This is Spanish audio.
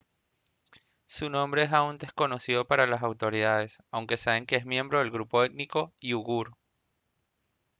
su nombre es aún desconocido para las autoridades aunque saben que es miembro del grupo étnico iugur